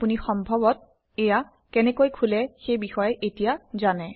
আপুনি সম্ভৱতঃ এয়া কেনেকৈ খোলে সেইবিষয়ে এতিয়া জানে